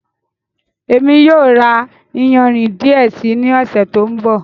Émi yóò ra ìyánrín díẹ̀ sí ni ọsẹ̀ tó nbọ̀.